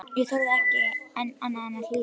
Ég þorði ekki annað en að hlýða.